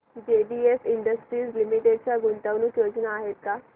JBF industries limited च्या गुंतवणूक योजना आहेत का